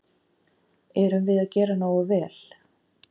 Erum við að gera nógu vel?